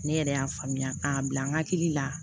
Ne yɛrɛ y'a faamuya k'a bila n hakili la